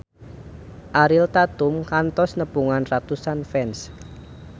Ariel Tatum kantos nepungan ratusan fans